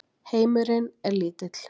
Heimurinn er lítill.